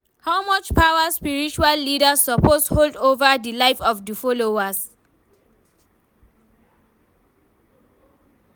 how much power spiritual leaders suppose hold over di live of di followers?